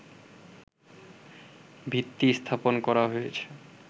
ভিত্তি স্থাপন করা হয়েছে